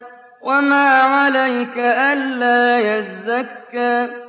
وَمَا عَلَيْكَ أَلَّا يَزَّكَّىٰ